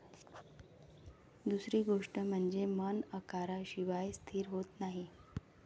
दुसरी गोष्ट म्हणजे मन आकाराशिवाय स्थिर होत नाही.